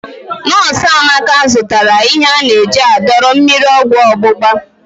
Nọs Amaka zụtara ihe ana-eji adọrọ mmiri ọgwọ ọgbụgba.